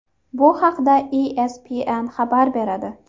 Bu haqda ESPN xabar beradi .